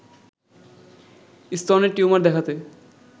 স্তনের টিউমার দেখাতে